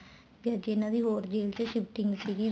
ਜਾਂ ਜਿਹਨਾ ਦੀ ਹੋਰ guilt shifting ਸੀਗੀ